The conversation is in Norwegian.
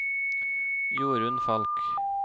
Jorunn Falch